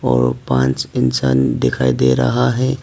और पांच इंसान दिखाई दे रहा है।